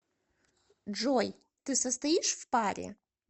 джой ты состоишь в паре